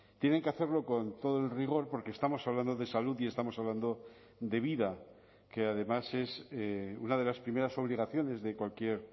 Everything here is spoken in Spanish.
tienen que hacerlo con todo el rigor porque estamos hablando de salud y estamos hablando de vida que además es una de las primeras obligaciones de cualquier